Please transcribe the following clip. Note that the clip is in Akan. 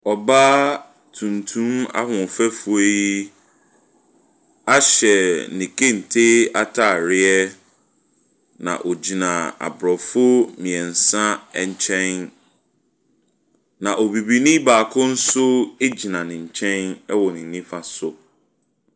Ɔbaa tuntum ahoɔfɛfoɔ yi ahyɛ ne kente ataareɛ na ɔgyina abrɔfo mmiɛnsa ɛnkyɛn. Na obibinii baako nso gyina ne nkyɛn ɛwɔ ne nifa so.